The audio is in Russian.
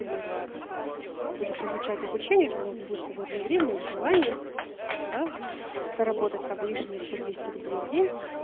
пока ты будешь изучать обучение этим можно будет свободное время или желание до заработать там лишнее